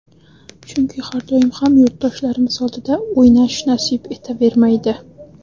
Chunki har doim ham yurtdoshlarimiz oldida o‘ynash nasib etavermaydi.